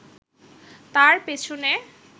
তার পেছনে